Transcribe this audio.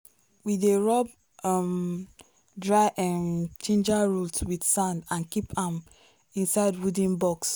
we dey rub um dry um ginger root with sand and keep am inside wooden box.